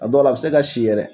A dɔw la, a bɛ se ka si yɛrɛ.